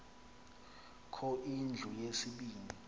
kho indlu yesibini